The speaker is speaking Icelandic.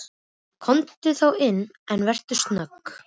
Komdu þá inn, en vertu snögg.